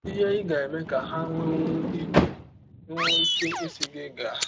Ihe Ị Ga - eme Ka Ha Nwekwụọ Ike Nwekwụọ Ike Ịsị Gị Gaa